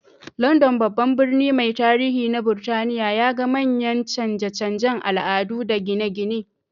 London, babban birni mai tarihi na Burtaniya, ya ga manyan canje-canjen al'adu da gine-gine.